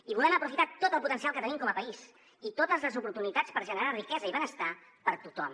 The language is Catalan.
i volem aprofitar tot el potencial que tenim com a país i totes les oportunitats per generar riquesa i benestar per a tothom